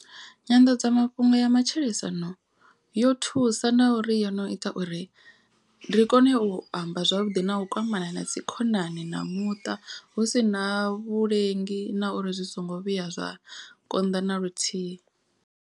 Nyanḓadzamafhungo ya matshilisano yo thusa na uri yo no ita uri ri kone u amba zwavhuḓi. Na u kwamana na dzi khonani na muṱa hu si na vhulengi na uri zwi songo vhuya zwa konḓa na luthihi.